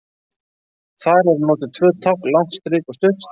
Þar eru notuð tvö tákn, langt strik og stutt strik.